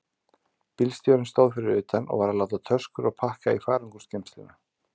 Bílstjórinn stóð fyrir utan og var að láta töskur og pakka í farangursgeymsluna.